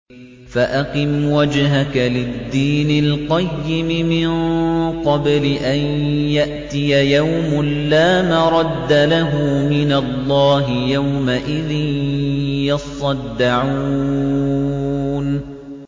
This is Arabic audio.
فَأَقِمْ وَجْهَكَ لِلدِّينِ الْقَيِّمِ مِن قَبْلِ أَن يَأْتِيَ يَوْمٌ لَّا مَرَدَّ لَهُ مِنَ اللَّهِ ۖ يَوْمَئِذٍ يَصَّدَّعُونَ